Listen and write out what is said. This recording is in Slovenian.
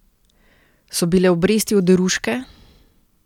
So bile obresti oderuške?